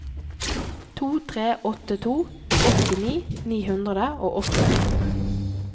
to tre åtte to åttini ni hundre og åttito